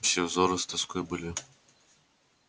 все взоры с тоской были